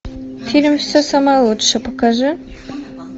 фильм все самое лучшее покажи